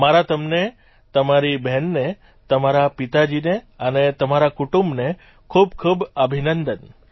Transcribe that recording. મારા તમને તમારી બહેનને તમારા પિતાજીને અને તમારા કુટુંબને ખૂબ ખૂબ અભિનંદન